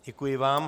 Děkuji vám.